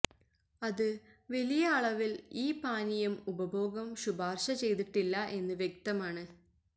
അത് വലിയ അളവിൽ ഈ പാനീയം ഉപഭോഗം ശുപാർശ ചെയ്തിട്ടില്ല എന്ന് വ്യക്തമാണ്